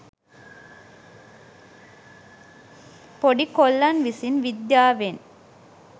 පොඩි කොල්ලන් විසින් විද්‍යාවෙන්